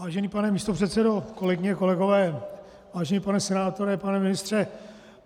Vážený pane místopředsedo, kolegyně, kolegové, vážený pane senátore, pane ministře.